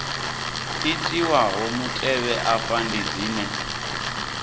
itiwaho mutevhe afha ndi dzine